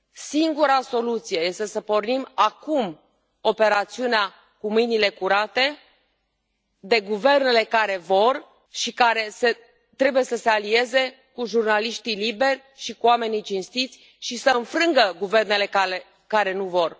Singura soluție este să pornim acum operațiunea cu mâinile curate, condusă de guvernele care vor și care trebuie să se alieze cu jurnaliștii liberi și cu oamenii cinstiți și să înfrângă guvernele care nu vor.